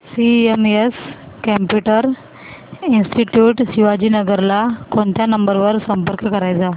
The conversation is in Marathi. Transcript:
सीएमएस कम्प्युटर इंस्टीट्यूट शिवाजीनगर ला कोणत्या नंबर वर संपर्क करायचा